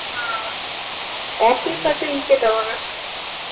হ্যাঁ office আছে ইকে টাওয়ার